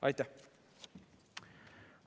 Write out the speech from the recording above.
Aitäh!